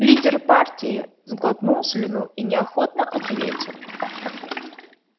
лидер партии сглотнул слюну и неохотно ответил